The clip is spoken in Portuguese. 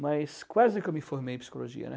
Mas quase que eu me formei em psicologia, né.